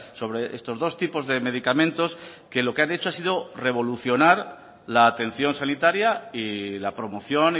sobre estos dos tipos de medicamentos que lo que han hecho ha sido revolucionar la atención sanitaria y la promoción